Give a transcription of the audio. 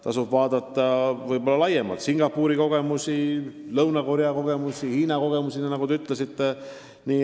Tasub vaadata Singapuri kogemusi, Lõuna-Korea kogemusi, Hiina kogemusi, nagu te ütlesite.